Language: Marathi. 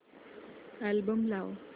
अल्बम लाव